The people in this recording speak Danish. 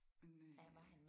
Men øh